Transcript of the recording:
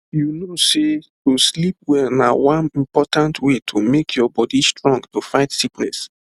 you know sey to sleep well na one important way to make your body strong to fight sickness